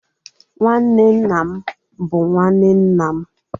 Nwanne nna m bu nwanne nna m